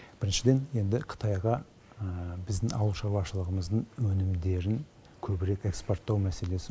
біріншіден енді қытайға біздің ауыл шаруашылығымыздың өнімдерін көбірек экспорттау мәселесі